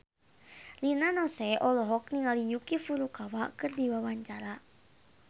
Rina Nose olohok ningali Yuki Furukawa keur diwawancara